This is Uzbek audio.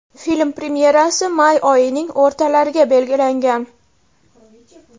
Film premyerasi may oyining o‘rtalariga belgilangan.